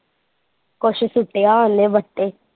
ਕੁਸ਼ ਸੁੱਟਿਆ ਓਹਨੇ ਬੱਟੇ